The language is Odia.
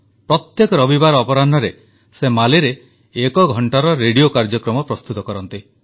ପ୍ରତ୍ୟେକ ରବିବାର ଅପରାହ୍ଣରେ ସେ ମାଲିରେ ଏକ ଘଂଟାର ରେଡିଓ କାର୍ଯ୍ୟକ୍ରମ ପ୍ରସ୍ତୁତ କରନ୍ତି